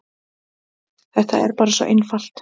Þetta er bara svo einfalt.